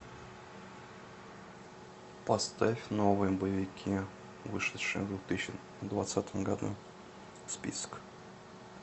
поставь новые боевики вышедшие в две тысячи двадцатом году список